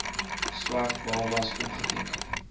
swart babas opgeteken